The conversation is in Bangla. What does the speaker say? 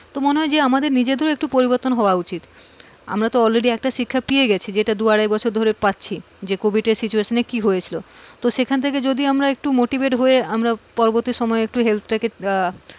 তো মনে হয় যে আমাদের নিজেদেরও একটু পরিবর্তন হওয়া উচিত। আমরা তো already একটা শিক্ষা পেয়ে গেছি যেটা দু আড়াই বছর ধরে পাচ্ছি যে covid এর situation এ কি হয়েছিল, তো সেখান থেকে motivate হয়ে আমরা পরবর্তী সময়ে আমরা health তাকে আহ